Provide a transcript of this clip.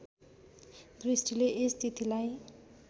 दृष्टिले यस तिथिलाई